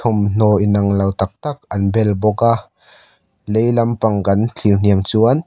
thawmhnaw inanglo tak tak an bel bawk a lei lampang kan thlir hniam chuan --